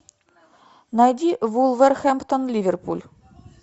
найди вулверхэмптон ливерпуль